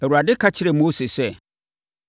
Awurade ka kyerɛɛ Mose sɛ,